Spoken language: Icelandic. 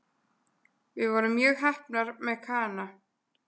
Við vorum mjög heppnar með Kana